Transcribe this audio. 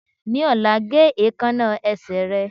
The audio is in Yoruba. Ní ọ̀la, ge èékánná ẹsẹ̀ rẹ